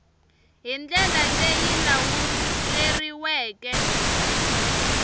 hi ndlela leyi yi lawuleriweke